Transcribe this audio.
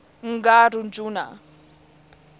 n g rjuna